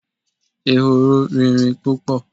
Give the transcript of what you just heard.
Ehoro rìnrìn púpò